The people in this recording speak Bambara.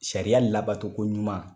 Sariya labato koɲuman.